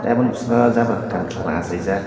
aboni boskango jabra kokarang kokarang achaijak.